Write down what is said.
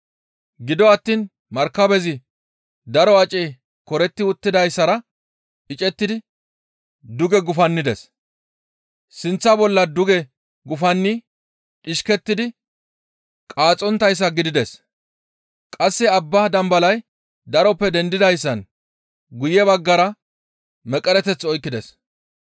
Gido attiin markabezi daro acey koretti uttidayssara icettidi duge gufannides; sinththa bolla duge gufanni dhishkettidi qaaxxonttayssa gidides; qasse abba dambalay daroppe dendidayssan guye baggara meqereteth oykkides.